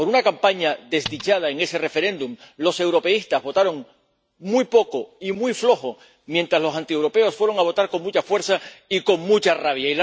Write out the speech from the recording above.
Por una campaña desdichada en ese referéndum, los europeístas votaron muy poco y muy flojo, mientras los antieuropeos fueron a votar con mucha fuerza y con mucha rabia.